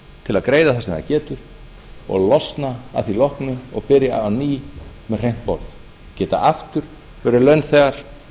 til að greiða það sem það getur og losna að því loknu og byrja á ný með hreint borð geta aftur verið launþegar